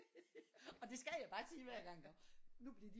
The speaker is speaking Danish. Og det skal jeg bare sige hver gang iggå nu bliver de